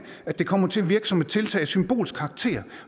at det kommer til at virke som et tiltag af symbolsk karakter